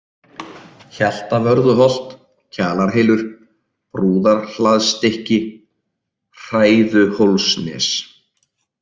Hjaltavörðuholt, Kjalarhylur, Brúðarhlaðsstykki, Hræðuhólsnes